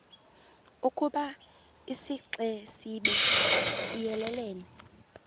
ukoba isixesibe siyelelene